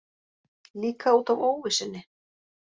Líka út af óvissunni.